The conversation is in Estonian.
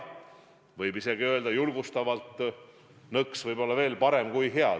Võib isegi öelda julgustavalt, et nõks võib-olla veel parem kui hea.